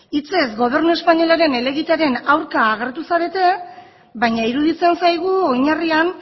hitzez gobernu espainolaren helegitearen aurka agertu zarete baina iruditzen zaigu oinarrian